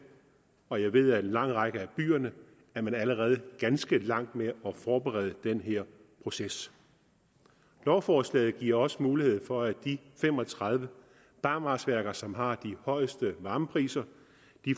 og jeg ved at i en lang række af byerne er man allerede ganske langt med at forberede den her proces lovforslaget giver også mulighed for at de fem og tredive barmarksværker som har de højeste varmepriser